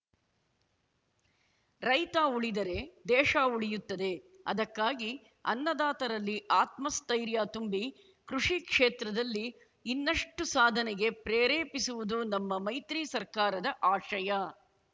ರೈತ ಉಳಿದರೆ ದೇಶ ಉಳಿಯುತ್ತದೆ ಅದಕ್ಕಾಗಿ ಅನ್ನದಾತರಲ್ಲಿ ಆತ್ಮಸ್ಥೈರ್ಯ ತುಂಬಿ ಕೃಷಿ ಕ್ಷೇತ್ರದಲ್ಲಿ ಇನ್ನಷ್ಟುಸಾಧನೆಗೆ ಪ್ರೇರೇಪಿಸುವುದು ನಮ್ಮ ಮೈತ್ರಿ ಸರ್ಕಾರದ ಆಶಯ